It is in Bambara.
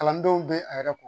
Kalandenw bɛ a yɛrɛ ko